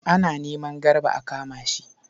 Ana neman Garba a kama shi.